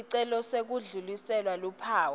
sicelo sekudlulisela luphawu